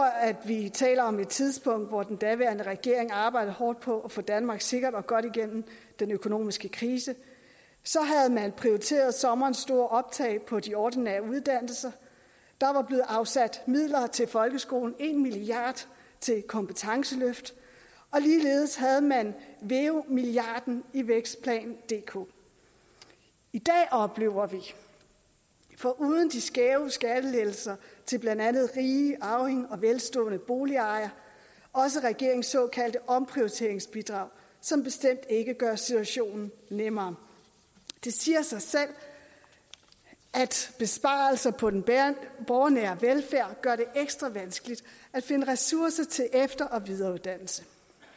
at vi taler om et tidspunkt hvor den daværende regering arbejdede hårdt på at få danmark sikkert og godt igennem den økonomiske krise havde man prioriteret sommerens store optag på de ordinære uddannelser der var blevet afsat midler til folkeskolen en milliard til kompetenceløft og ligeledes havde man veu milliarden i vækstplan dk i dag oplever vi foruden de skæve skattelettelser til blandt andet rige arvinger og velstående boligejere også regeringens såkaldte omprioriteringsbidrag som bestemt ikke gør situationen nemmere det siger sig selv at besparelserne på den borgernære velfærd gør det ekstra vanskeligt at finde ressourcer til efter og videreuddannelse